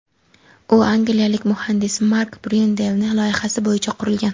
U angliyalik muhandis Mark Bryunelning loyihasi bo‘yicha qurilgan.